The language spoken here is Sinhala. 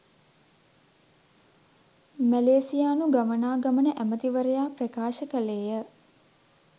’ මැලේසියානු ගමනාගමන ඇමතිවරයා ප්‍රකාශ කළේය